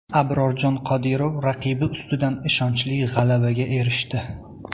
Abrorjon Qodirov raqibi ustidan ishonchli g‘alabaga erishdi.